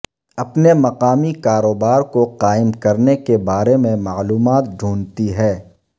اپنے مقامی کاروبار کو قائم کرنے کے بارے میں معلومات ڈھونڈتی ہے